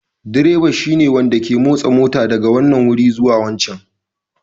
Direba shine wanda ke motsa mota daga wannan wuri zuwa wancan